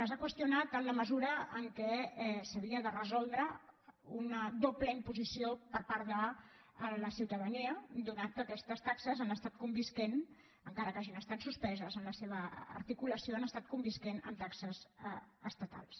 les ha qüestionat en la mesura en què s’havia de resoldre una doble imposició per part de la ciutadania ja que aquestes taxes han estat convivint encara que hagin estat suspeses en la seva articulació amb taxes estatals